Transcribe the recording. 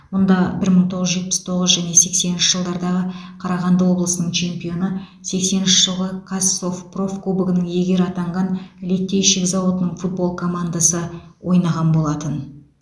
мұнда бір мың тоғыз жүз жетпіс тоғыз және сексенінші жылдардағы қарағанды облысының чемпионы сексенінші жылғы қазсовпроф кубогының иегері атанған литейщик зауытының футбол командасы ойнаған болатын